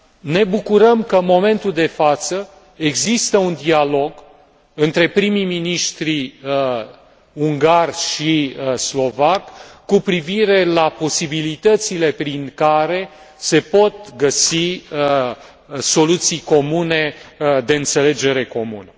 Ne bucurăm că în momentul de față există un dialog între prim miniștrii ungar și slovac cu privire la posibilitățile prin care se pot găsi soluții comune de înțelegere comună.